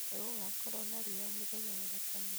nĩ gũgakorũo na riũa mũthenya wa wagatano